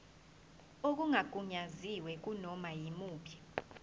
okungagunyaziwe kunoma yimuphi